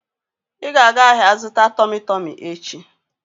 Ị ga-aga ahịa zụta Tọmị Tọmị echi!